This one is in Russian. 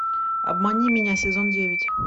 обмани меня сезон девять